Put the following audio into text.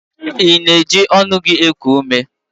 Ị na-eji ọnụ gị eku ume?